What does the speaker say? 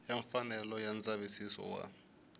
wa mfanelo ya ndzavisiso wa